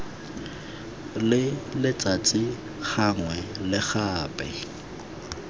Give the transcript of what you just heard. le letsatsi gangwe le gape